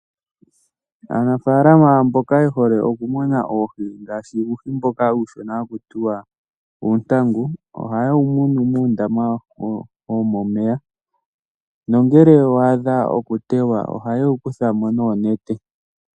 Aanafaalama mboka ye hole okumuna oohi ngaashi uuhi mboka uushona haku tiwa uuntangu ohaye wu munu muundama womomeya nongele wa adha okuteywa ohaye wu kutha mo noonete.